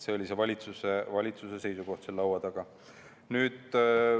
See oli valitsuse seisukoht seal laua taga.